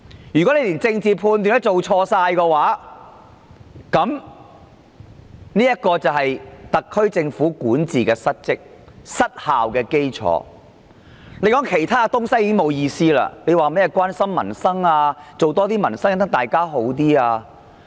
如果連政治判斷也出錯，特區政府便管治不當及失效，再說其他東西已沒有意思，遑論甚麼關心民生、改善市民生活質素等說話。